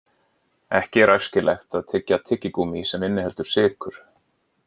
Ekki er æskilegt að tyggja tyggigúmmí sem inniheldur sykur.